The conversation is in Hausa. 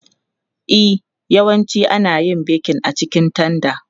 E, yawanci ana yin bekin a cikin tanda.